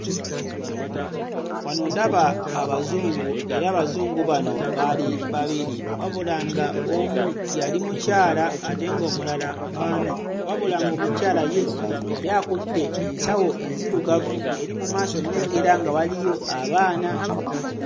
Wano ndaba Abazungu era Abazungu bano baali babiri wabula nga omu yali mukyala ate ng'omulala mwami wabula ng'omukyala ye yali akutte ensawo enzirugavu eri mu maaso nnengera nga waliyo abaana.